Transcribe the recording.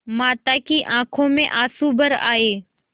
माता की आँखों में आँसू भर आये